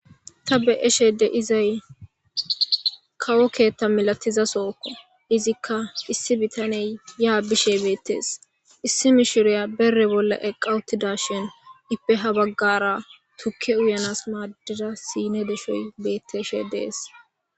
ta be7eshe de'izay kawo keetta milatiza sookko izikka issi bitaney yaa bishe beettees issi mishiriya bere bolla eqa uttidashin ippe ha baggara tukke uyanas maaddida siine deshoy betteshe dees